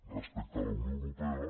respecte a la unió europea